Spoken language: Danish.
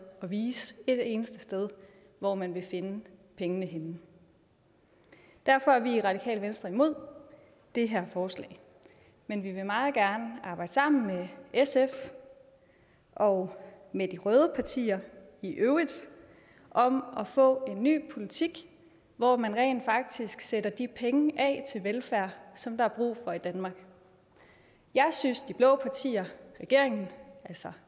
at vise et eneste sted hvor man vil finde pengene henne derfor er vi i det radikale venstre imod det her forslag men vi vil meget gerne arbejde sammen med sf og med de røde partier i øvrigt om at få en ny politik hvor man rent faktisk sætter de penge af til velfærd som der er brug for i danmark jeg synes de blå partier regeringen